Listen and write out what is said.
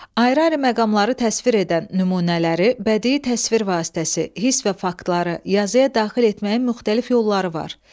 Ayrı-ayrı məqamları təsvir edən nümunələri, bədii təsvir vasitəsi, hiss və faktları yazıya daxil etməyin müxtəlif yolları var.